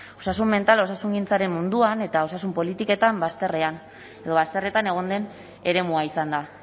osasun mentala osasungintzaren munduan eta osasun politiketan bazterretan egon den eremua izan da